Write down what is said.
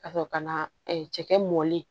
Ka sɔrɔ ka na cɛkɛ mɔni